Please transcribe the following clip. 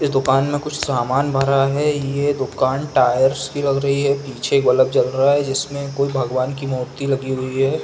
ये दुकान में कुछ सामान भरा है ये दुकान टायर्स की लग रही है पीछे एक बल्लब जल रहा है जिसमे कोई भगवान की मूर्ती लगी हुई है।